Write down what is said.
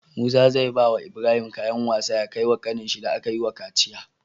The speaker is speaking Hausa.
Musa zai bawa Ibrahim kayan wasa ya kai wa kanin shi da akayi wa kaciya